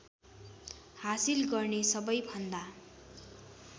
हासिल गर्ने सबैभन्दा